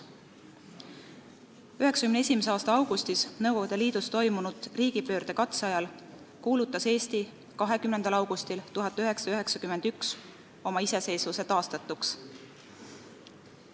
1991. aasta augustis Nõukogude Liidus toimunud riigipöördekatse ajal kuulutas Eesti 20. augustil 1991 oma iseseisvuse taastatuks.